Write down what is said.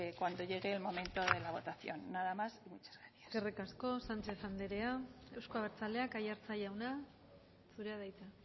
cuando llegue el momento de la votación nada más y muchas gracias eskerrik asko sánchez anderea euzko abertzaleak aiartza jauna zurea da hitza